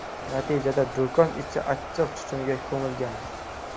Natijada do‘kon ichi achchiq tutunga ko‘milgan.